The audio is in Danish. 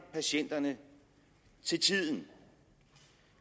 patienterne til tiden